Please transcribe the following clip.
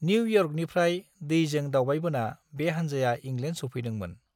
New इयर्कनिफ्राय दैजों दावबायबोना बे हान्जाया इंलेण्ड सौफैदोंमोन।